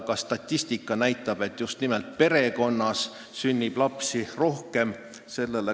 Ka statistika näitab, et just nimelt perekonnas sünnib lapsi rohkem.